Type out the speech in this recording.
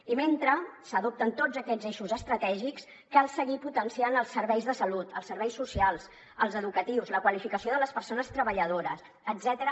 i mentre s’adopten tots aquests eixos estratègics cal seguir potenciant els serveis de salut els serveis socials els educatius la qualificació de les persones treballadores etcètera